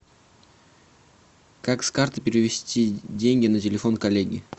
как с карты перевести деньги на телефон коллеги